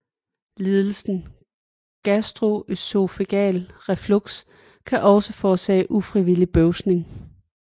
Lidelsen gastroøsofageal reflux kan også forårsage ufrivillig bøvsning